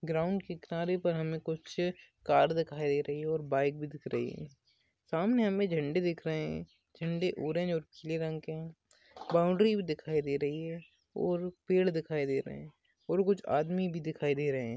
Ground के किनारे पर हमें कुछ कार दिखाई दे रही है और बाइक भी दिख रही है सामने हमें झंडा दिख रहे है झंडा ऑरेंज और पीले रंग के है बाउंड्री भी दिखाई दे रही है और पेड़ दिखाई दे रहे है और कुछ आदमी भी दिखाई दे रहे है।